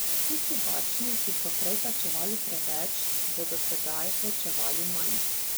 Tisti varčni, ki so prej plačevali preveč, bodo sedaj plačevali manj.